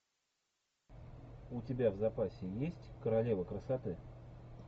у тебя в запасе есть королева красоты